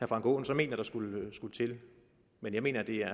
frank aaen så mener der skulle til men jeg mener der